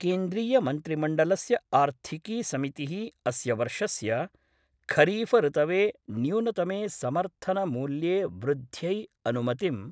केन्द्रीयमन्त्रिमण्डलस्य आर्थिकी समितिः अस्य वर्षस्य खरीफ ऋतवे न्यूनतमे समर्थनमूल्ये वृद्ध्यै अनुमतिं